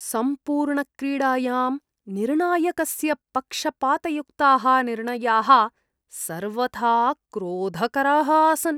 सम्पूर्णक्रीडायां निर्णायकस्य पक्षपातयुक्ताः निर्णयाः सर्वथा क्रोधकराः आसन्।